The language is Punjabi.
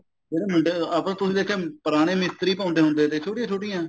ਜਿਹੜੇ ਮੁੰਡੇ ਆਪਾਂ ਤੁਸੀਂ ਦੇਖਿਆ ਪੁਰਾਣੇ ਮਿਸਤਰੀ ਪਾਉਂਦੇ ਹੁੰਦੇ ਥੇ ਛੋਟੀਆਂ ਛੋਟੀਆਂ